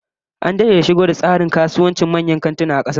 An dade da shigo da tsarin kasuwancin manyan kantuna a kasar nan